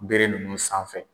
N bere nunnu sanfɛ.